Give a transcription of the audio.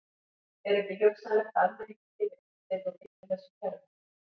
Er ekki hugsanlegt að almenningur geri uppsteyt og bylti þessu kerfi?